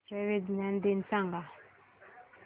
राष्ट्रीय विज्ञान दिन सांगा